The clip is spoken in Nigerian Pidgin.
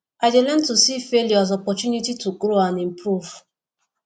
i dey learn to see failure as opportunity to grow and improve